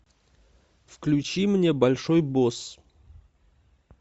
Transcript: включи мне большой босс